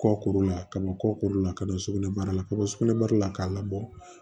Kɔkɔ la ka bɔ kɔkolo la ka na don sugunɛbara la ka bɔ sugunɛbara la k'a labɔ